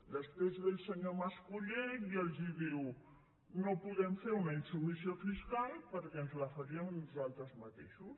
després ve el senyor mas colell i els diu no podem fer una insubmissió fiscal perquè ens la faríem a nosaltres mateixos